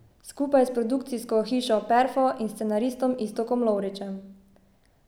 Skupaj s produkcijsko hišo Perfo in scenaristom Iztokom Lovričem.